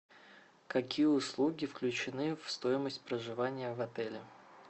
какие услуги включены в стоимость проживания в отеле